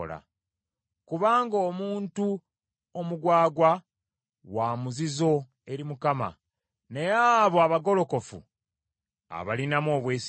kubanga omuntu omugwagwa wa muzizo eri Mukama , naye abo abagolokofu abalinamu obwesige.